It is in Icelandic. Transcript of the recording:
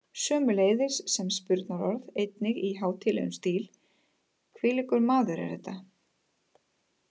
Sömuleiðis sem spurnarorð einnig í hátíðlegum stíl: hvílíkur maður er þetta?